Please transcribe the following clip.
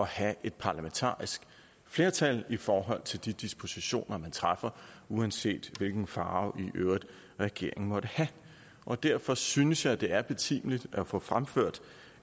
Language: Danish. have et parlamentarisk flertal i forhold til de dispositioner man træffer uanset hvilken farve i øvrigt regeringen måtte have og derfor synes jeg det er betimeligt at få fremført